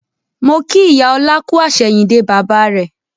Mo kí ìyá ọlá kú àsẹ̀yìndè bàbà rẹ